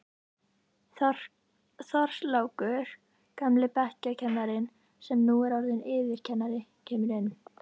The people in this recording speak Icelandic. Þorlákur, gamli bekkjarkennarinn sem nú er orðinn yfirkennari, kemur inn.